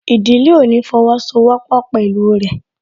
Ìdílé ò ní fọwọ́ sọ wọ́pọ̀ pẹ̀lú rẹ̀